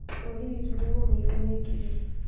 Bũrũri witũ nĩũgũmĩirwo nĩ ngigĩ